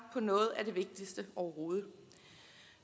på noget af det vigtigste overhovedet